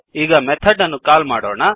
ಈಗ ಮೆಥಡ್ ಅನ್ನು ಕಾಲ್ ಮಾಡೋಣ